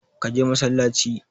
Ka je masallaci!